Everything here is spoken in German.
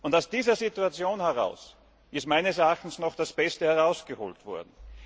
Aus dieser Situation heraus ist meines Erachtens noch das Beste herausgeholt worden.